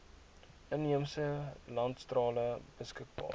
inheemse landstale beskikbaar